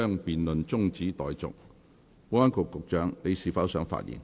保安局局長，你是否想發言？